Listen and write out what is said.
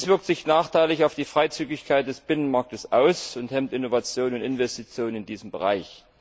Dies wirkt sich nachteilig auf die Freizügigkeit des Binnenmarkts aus und hemmt Innovationen und Investitionen in diesem Bereich.